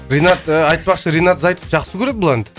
ринат ыыы айтпақшы ринат зайытов жақсы көреді бұл әнді